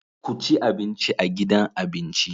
Ku ci abinci a gidan abinci.